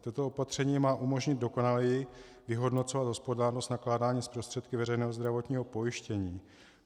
Toto opatření má umožnit dokonaleji vyhodnocovat hospodárnost nakládání s prostředky veřejného zdravotního pojištění.